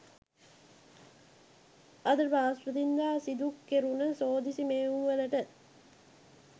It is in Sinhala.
අද බ්‍රහස්පතින්දා සිදු කෙරුණ සෝදිසි මෙහෙයුම් වලට